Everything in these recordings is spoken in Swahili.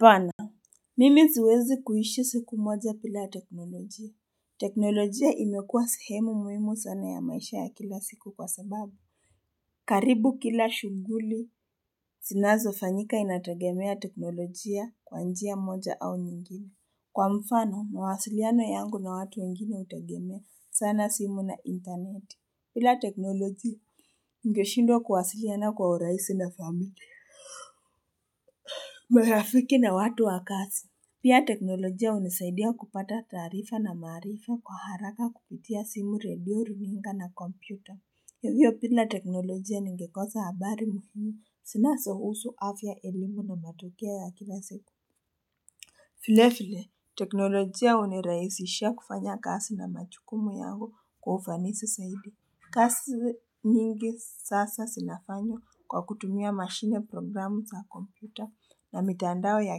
Bana Mimi ziwezi kuishi siku moja mbila teknolojia teknolojia imekuwa sehemu muhimu sana ya maisha ya kila siku kwasababu karibu kila shunguli Sinazo fanyika inatagemea teknolojia kwa njia moja au nyingine Kwa mfano mawasiliano yangu na watu wengine utegemea sana simu na internet bila teknolojia Ngeshindwa kuwasiliana kwa uraisi na familia Mwarafiki na watu wakazi Pia teknolojia unisaidia kupata tarifa na marifa kwa haraka kupitia simu radio ringa na kompyuta. Yavyo pila teknolojia ningikoza habari muhimu sina sahusu afya elimu na matokia ya kila siku. Vile vile teknolojia uniraisishia kufanya kasi na machukumu yango kwa ufanisi saidi. Kazi nyingi sasa sinafanyo kwa kutumia machine programu za kompyuta na mitandao ya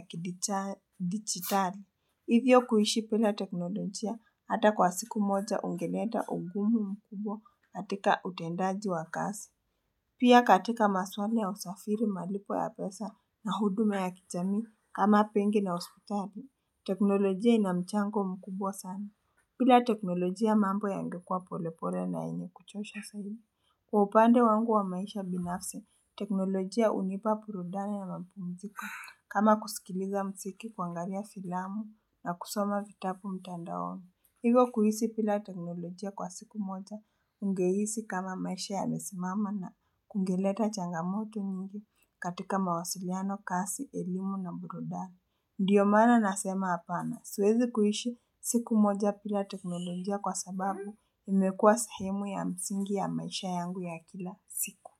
kidijitari. Hivyo kuishi pila teknolojia hata kwa siku moja ungeneta ugumu mkubwa katika utendaji wa kazi. Pia katika maswala ya usafiri malipo ya pesa na huduma ya kijami kama benki na hospitali. Teknolojia inamchango mkubwa sana. Bila teknolojia mambo ya ngekua polepole na inekuchosha sana. Kwa upande wangu wa maisha binafsi, teknolojia unipa burudani na mpunziko kama kusikiliza mziki kuangalia filamu. Na kusoma vitabu mtandaoni. Hivyo kuisi pila teknolojia kwa siku moja ungehisi kama maisha yamesimama na kungeleta changamoto nyingi katika mawasiliano, kazi, elimu na brudani. Ndiyo mana nasema hapana, suwezi kuhisi siku moja bila teknolojia kwa sababu imekua sehimu ya msingi ya maisha yangu ya kila siku.